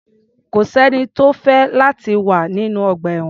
Kò sẹ́ni tó fẹ́ láti wà nínú ọgbà-ẹ̀wọ̀n.